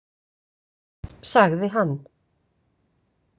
Sagði hann.